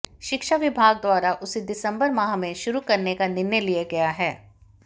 शिक्षा विभाग द्वारा इसे दिसंबर माह में शुरू करने का निर्णय लिया गया है